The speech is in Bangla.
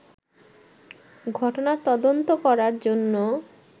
ঘটনা তদন্ত করার জন্য